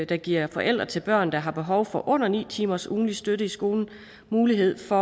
der giver forældre til børn der har behov for under ni timers ugentlig støtte i skolen mulighed for